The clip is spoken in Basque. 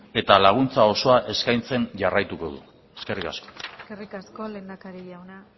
eta laguntza osoa eskaintzen jarraituko du eskerrik asko eskerrik asko lehendakari jauna